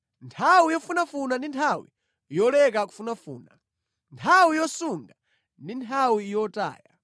Nthawi yofunafuna ndi nthawi yoleka kufunafuna, nthawi yosunga ndi nthawi yotaya.